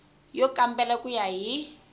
yo kambela ku ya hi